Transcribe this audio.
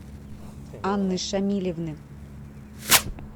анны шамилевны